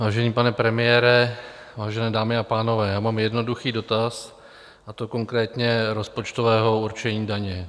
Vážený pane premiére, vážené dámy a pánové, já mám jednoduchý dotaz, a to konkrétně rozpočtového určení daní.